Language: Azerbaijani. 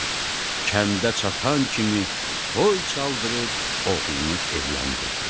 Kəndə çatan kimi toy çaldırıb oğlunu evləndirdi.